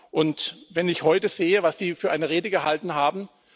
Und wenn ich heute sehe, was Sie für eine Rede gehalten haben!